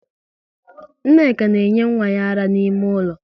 Nneka na enye nwa ya ara n'ime ụlọ